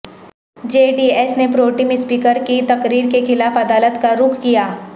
جے D S نے pro tem speaker کی تقرری کے خلاف عدالت کا رخ کیا